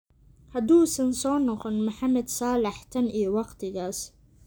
Haduusan soo noqon Mohamed Salah tan iyo waqtigaas.